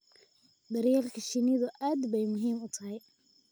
Daryeelka shinnidu aad bay muhiim u tahay